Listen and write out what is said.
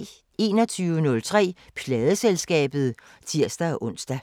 21:03: Pladeselskabet (tir-ons)